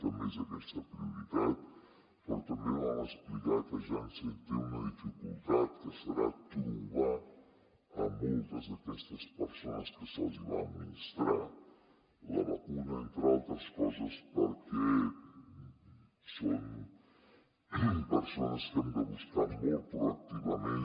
també és aquesta prioritat però també vam explicar que janssen té una dificultat que serà trobar moltes d’aquestes persones a qui se’ls hi va administrar la vacuna entre altres coses perquè són persones a qui hem de buscar molt proactivament